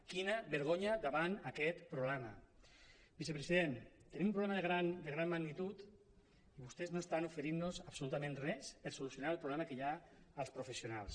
quina vergonya davant aquest problema vicepresident tenim un problema de gran magnitud i vostès no estan oferint nos absolutament res per solucionar el problema que hi ha als professionals